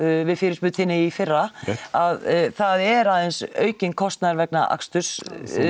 við fyrirspurn þinni í fyrra að það er aðeins aukinn kostnaður vegna aksturs